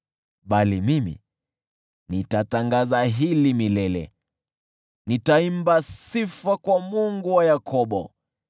Bali mimi, nitatangaza hili milele; nitaimba sifa kwa Mungu wa Yakobo.